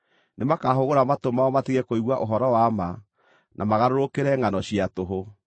Nĩmakahũgũra matũ mao matige kũigua ũhoro wa ma, na magarũrũkĩre ngʼano cia tũhũ.